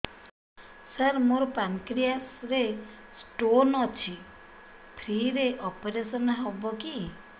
ସାର ମୋର ପାନକ୍ରିଆସ ରେ ସ୍ଟୋନ ଅଛି ଫ୍ରି ରେ ଅପେରସନ ହେବ କି